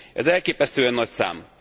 Ez elképesztően nagy szám.